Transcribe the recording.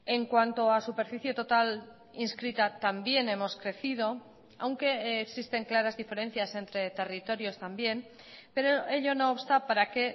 en cuanto a superficie total inscrita también hemos crecido aunque existen claras diferencias entre territorios también pero ello no obsta para que